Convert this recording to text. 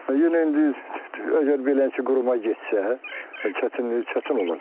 Yenə indi əgər beləsinə quruma getsə, çətinlik çətin olacaq.